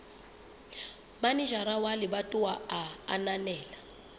manejara wa lebatowa a ananela